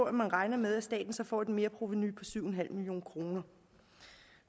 at man regner med at staten får et merprovenu på syv million kroner